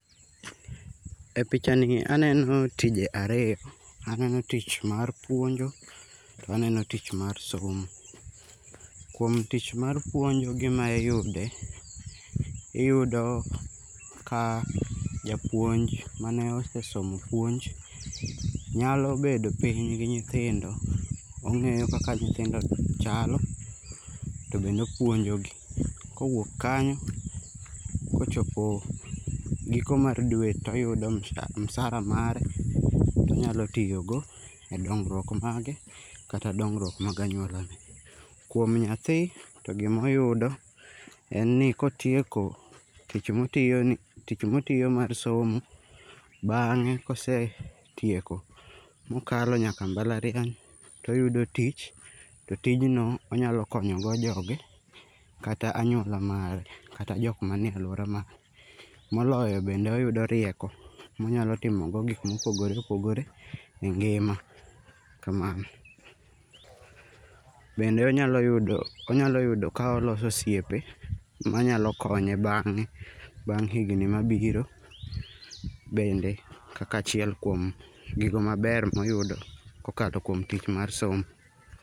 E pichani aneno tije ariyo, aneno tich mar puonjo, to aneno tich mar somo. Kuom tich mar puonjo, gima iyude iyudo ka japuonj mane osesomo puonj, nyalo bedo piny gi nyithindo. ong'iyo kaka nyithindo chalo, to bende opuonjogi. Kowuok kanyo, kochopo giko mar dwe to oyudo msara mare ma onyalo tiyogo e dongruok mare kata dongruok mag anyuolane. Kuom nyathi, to gimoyude en ni kotieko tich motiyoni, tich motiyo mar somo, bang'e kosetieko mokalo nyaka mbalariany toyudo tich, to tijno onyalo konyogo joge kata anyuola mare kata jok manie alwora mare. Moloyo bende oyudo rieko monyalo timogo gik mopogore opogore e ngima ,kamano. Bende onyalo ,onyalo yudo ka oloso osiepe manyalo konye bang'e, bang' higni mabiro bende kaka achiel kuom gigo maber moyudo kokalo kuom tich mar somo.